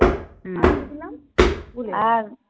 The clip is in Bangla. হুম. আর কী দিলাম. ভুলে গেলাম